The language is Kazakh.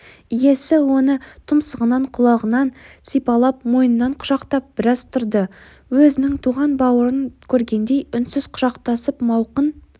иесі оны тұмсығынан құлағынан сипалап мойнынан құшақтап біраз тұрды өзінің туған бауырын көргендей үнсіз құшақтасып мауқын